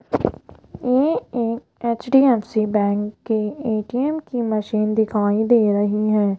ये एक HDFC bank के ए_टी_एम की मशीन दिखाई दे रही है।